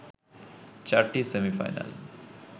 চারটি সেমি-ফাইনাল